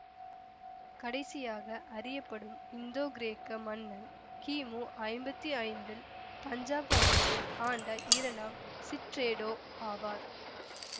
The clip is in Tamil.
கடைசியாக அறியப்படும் இந்தோகிரேக்க மன்னன் கி மு ஐம்பத்தி ஐந்தில் பஞ்சாப் பகுதியை ஆண்ட இரண்டாம் சிட்ரெடோ ஆவார்